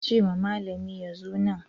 Ka ce wa malami ya zo nan.